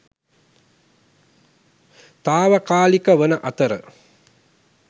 තාවකාලික වන අතර